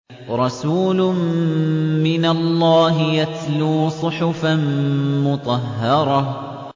رَسُولٌ مِّنَ اللَّهِ يَتْلُو صُحُفًا مُّطَهَّرَةً